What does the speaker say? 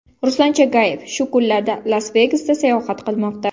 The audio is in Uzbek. Ruslan Chagayev shu kunlarda Las-Vegasda sayohat qilmoqda .